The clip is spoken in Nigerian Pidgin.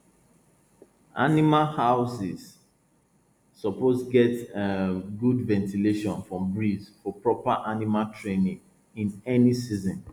animal houses suppose get um good ventilation from breeze for proper animal training in any season